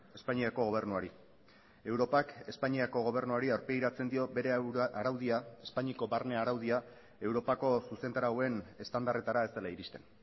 espainiako gobernuari europak espainiako gobernuari aurpegiratzen dio bere araudia espainiako barne araudia europako zuzentarauen estandarretara ez dela iristen